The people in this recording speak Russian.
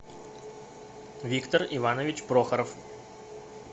виктор иванович прохоров